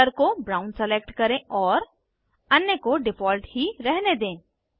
fill colour को brown select करें और अन्य को डिफ़ॉल्ट ही रहने दें